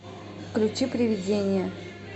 включи привидение